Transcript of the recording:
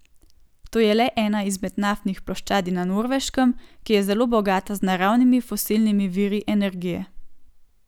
To je le ena izmed naftnih ploščadi na Norveškem, ki je zelo bogata z naravnimi fosilnimi viri energije.